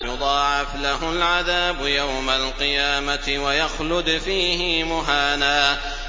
يُضَاعَفْ لَهُ الْعَذَابُ يَوْمَ الْقِيَامَةِ وَيَخْلُدْ فِيهِ مُهَانًا